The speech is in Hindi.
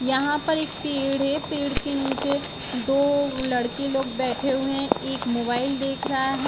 यहा पर एक पेड़ है पेड़ के नीचे दो लड़के लोग बटहे हुए हैं एक मोबाइल देख रहा है।